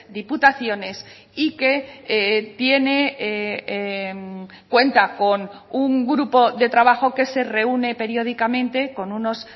diputaciones y que tiene cuenta con un grupo de trabajo que se reúne periódicamente con unos